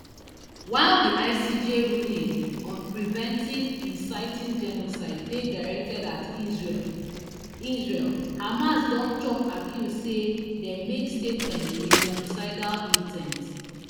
while di icj ruling on preventing inciting genocide dey directed at israel israel hamas don chop accuse say dem make statements wit genocidal in ten t